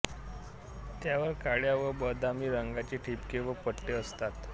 त्यावर काळ्या व बदामी रंगाचे ठिपके व पट्टे असतात